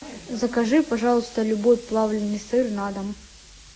закажи пожалуйста любой плавленный сыр на дом